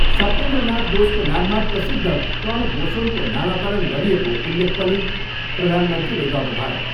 सत्येन्द्रनाथ बोसको नाममा प्रसिद्ध कण बोसोनको नामकरण गरिएको उल्लेख पनि प्रधानमन्त्रीले गर्नुभयो।